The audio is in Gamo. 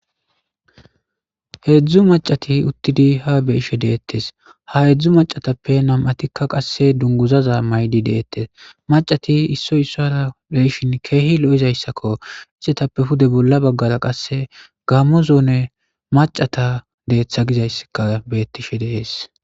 Heezzu maccathi uththidi haa be7ishe deeththes; ha heezzu maccathappe nam7athikka qassi dungguuzaza mayidi de7eeththes; maccathi issoy issuwaara be7ishin keehi lo7izayssakoo; isathappe pude bolla baggara qassi gaammo zoone maccatha deeththa gizayssikka beeththishe de7ees.